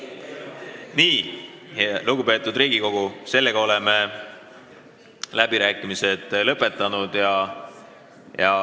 Nii, lugupeetud Riigikogu, oleme läbirääkimised lõpetanud.